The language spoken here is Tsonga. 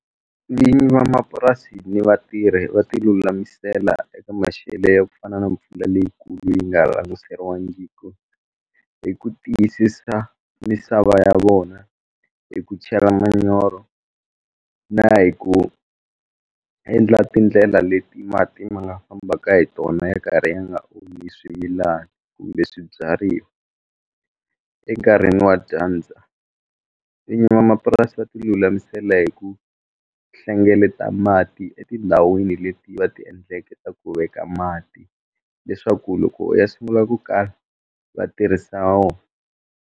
Vinyi van'wamapurasi ni vatirhi va tilulamisela eka maxelo ya ku fana na mpfula leyikulu yi nga languseriwangiku hi ku tiyisisa misava ya vona hi ku chela manyoro na hi ku endla tindlela leti mati ma nga fambaka hi tona ya karhi ya nga onhi swimilana kumbe swibyariwa enkarhini wa dyandza vinyi vamapurasi va tilulamisela hi ku hlengeleta mati etindhawini leti va ti endleke ta ku veka mati leswaku loko ya sungula ku kala va tirhisa wona.